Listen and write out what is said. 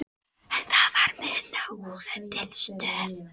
En það varð minna úr en til stóð.